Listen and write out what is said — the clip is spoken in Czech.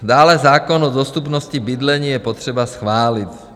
Dále zákon o dostupnosti bydlení je potřeba schválit.